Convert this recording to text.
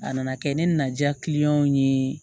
A nana kɛ ne na diya ye